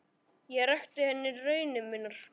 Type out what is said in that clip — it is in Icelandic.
Ég rakti henni raunir mínar.